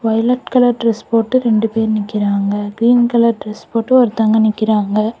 Violet colour dress போட்டு ரெண்டு பேரு நிக்குறாங்க கிறீன் கலர் டிரஸ் போட்டு ஒருத்தவங்க நிக்குறாங்க.